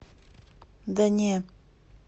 да не